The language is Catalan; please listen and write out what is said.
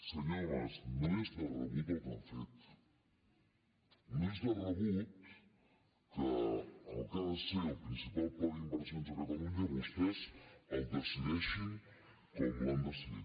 senyor mas no és de rebut el que han fet no és de rebut que el que ha de ser el principal pla d’inversions a catalunya vostès el decideixin com l’han decidit